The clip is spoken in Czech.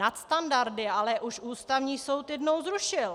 Nadstandardy ale už Ústavní soud jednou zrušil.